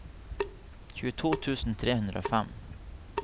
tjueto tusen tre hundre og fem